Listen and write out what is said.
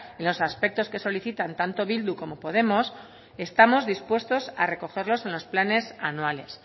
en los aspectos que solicitan tanto bildu como podemos estamos dispuestos a recogerlos en los planes anuales